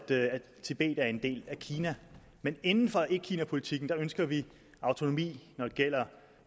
tibet er en del af kina men inden for etkinapolitikken ønsker vi autonomi når det gælder